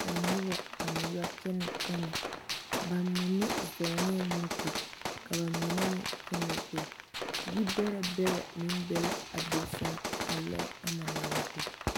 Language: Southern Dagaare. ka noba a meŋ yɔ kyɛnɛ ba mine zɔɔne la moto ka ba mine meŋ kyɛnɛ gbɛɛ yibɛrɛ bɛrɛ meŋ be la a be seŋ a loɛ ama naŋ be.